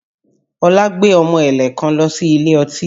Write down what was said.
Ọlá gbé ọmọ ẹ̀lẹ̀ kan lọ sí ilé ọtí